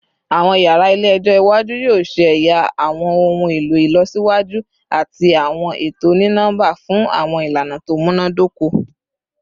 Awọn yara ile-ẹjọ iwaju yoo ṣe ẹya awọn ohun elo ilọsiwaju ati awọn eto oni-nọmba fun awọn ilana to munadoko